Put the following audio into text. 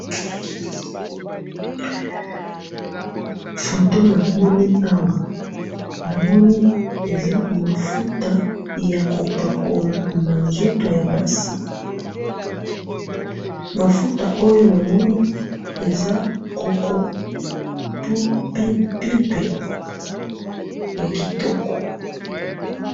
photo namoni awa, namoni eza mafuta ya ko pakola na nzoto ya basi, mafuta oyo namoni eza coco pulp, ya kitoko.